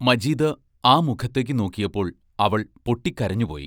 മജീദ് ആ മുഖത്തേക്കു നോക്കിയപ്പോൾ അവൾ പൊട്ടിക്കരഞ്ഞുപോയി.